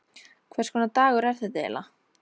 Hvers konar dagur er þetta eiginlega?